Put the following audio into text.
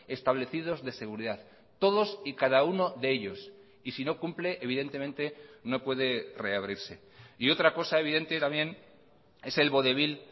establecidos de seguridad todos y cada uno de ellos y si no cumple evidentemente no puede reabrirse y otra cosa evidente también es el vodevil